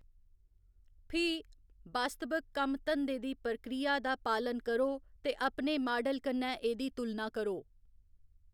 फ्ही, वास्तवक कम्म धंदे दी प्रक्रिया दा पालन करो ते अपने माडल कन्नै एह्‌‌‌दी तुलना करो।